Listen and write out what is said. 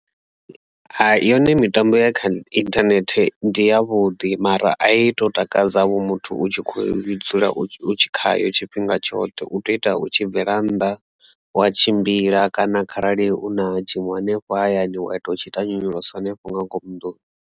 Hayi yone mitambo ya kha internet ndi ya vhuḓi mara a i tou takadzavho muthu u tshi khou dzula khayo tshifhinga tshoṱhe u tea u ita u tshi bvela nnḓa wa tshimbila kana kharali u na tshiṅwe hanefho hayani wa ita u tshi ita nyonyoloso hanefho nga ngomu nḓuni.